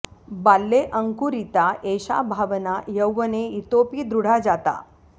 बाल्ये अङ्कुरिता एषा भावना यौवने इतोऽपि दृढा जाता